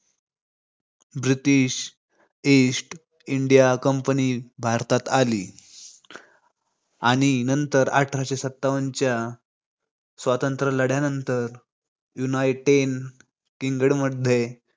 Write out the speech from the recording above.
British East India Company भारतात आली. आणि नंतर अठराशे सत्तावनच्या स्वतंत्र लढ्यानंतर united इंग्लंडमध्ये.